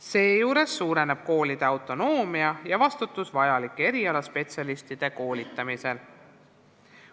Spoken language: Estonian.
Seejuures suureneb koolide autonoomia ja vastutus erialaspetsialistide koolitamisel.